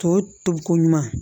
Tɔ tobiko ɲuman